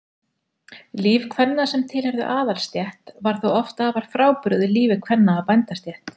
Líf kvenna sem tilheyrðu aðalsstétt var þó afar frábrugðið lífi kvenna af bændastétt.